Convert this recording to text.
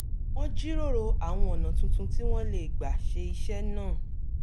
wọ́n jíròrò àwọn ọ̀nà tuntun tí wọ́n lè gbà ṣe iṣẹ́ náà